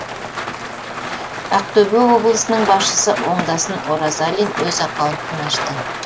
ақтөбе облысының басшысы оңдасын оразалин өз аккаунтын ашты